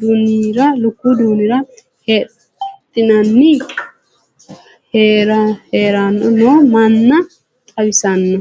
duunira hidhaninna hirranni noo manna xawissanno.